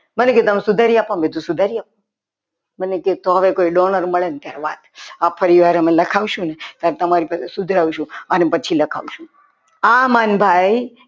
મને કે તમે સુધારી આપો. મેં કીધું સુધારી આપો. મને કે તમને કંઈ donner મળે ને ત્યારે વાત આ પરિવાર અમે લખાવશું ને તો તમારી પાસે સુધરાવશું અને પછી લખાવશું.